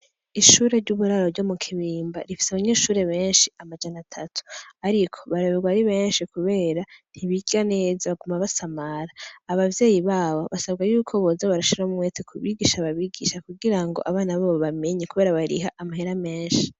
Ishuri ry' uburaro ryo mu Kibimba rifise abanyeshure benshi amajana atatu ariko barayobegwa ari benshi kubera ntibiga neza baguma basamara abavyeyi babo basabwa yuko boza barashiramwo umwete ku bigisha babigisha kugira ngo abana babo bamenye kubera bariha amahera menshi.